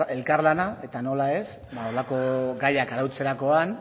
elkarlana eta nola ez halako gaiak arautzerakoan